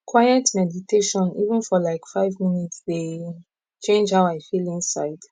quiet meditation even for like five minutes dey change how i feel inside